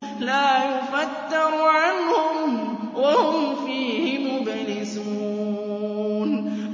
لَا يُفَتَّرُ عَنْهُمْ وَهُمْ فِيهِ مُبْلِسُونَ